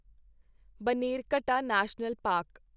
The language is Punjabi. Bannerghatta National park